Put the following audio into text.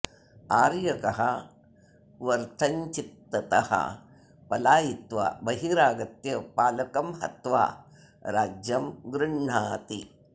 आर्यकः वर्थञ्चित्ततः पलायित्वा बहिरागत्य पालकं हत्वा राज्यं गृह्णाति